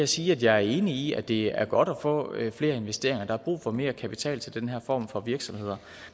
sige at jeg er enig i at det er godt at få flere investeringer der er brug for mere kapital til den her form for virksomheder